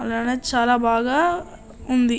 అలానే చాలా బాగా ఉంది.